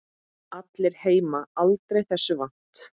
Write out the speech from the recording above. Allir heima aldrei þessu vant.